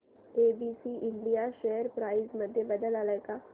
ABC India share price मध्ये बदल आलाय का